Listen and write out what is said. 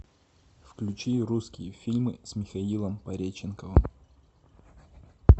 включи русские фильмы с михаилом пореченковым